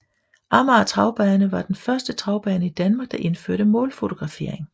Amager Travbane var den første travbane i Danmark der indførte målfotografering